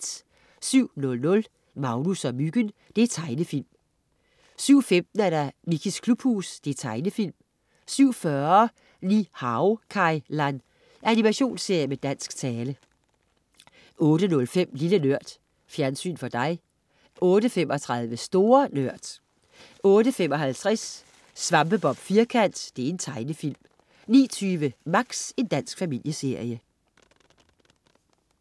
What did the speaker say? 07.00 Magnus og Myggen. Tegnefilm 07.15 Mickeys klubhus. Tegnefilm 07.40 Ni-Hao Kai Lan. Animationsserie med dansk tale 08.05 Lille Nørd. Fjernsyn for dig 08.35 Store Nørd 08.55 Svampebob Firkant. Tegnefilm 09.20 Max. Dansk familieserie